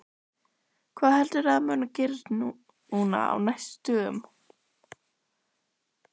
Hjörtur: Hvað heldurðu að muni gerast núna á næstu dögum?